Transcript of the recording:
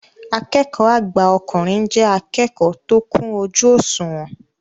Akẹ́kọ̀ọ́ àgbà ọkùnrin jẹ́ akẹ́kọ̀ọ́ tó kún ojú òṣùwọ̀n